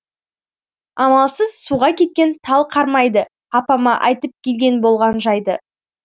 амалсыз суға кеткен тал қармайды апама айтып келген болған жайды